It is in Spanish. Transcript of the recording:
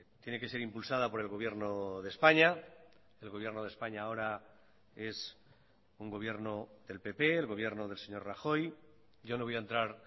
tiene que ser impulsada por el gobierno de españa el gobierno de españa ahora es un gobierno del pp el gobierno del señor rajoy yo no voy a entrar